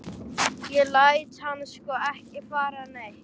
Ég læt hann sko ekki fara neitt.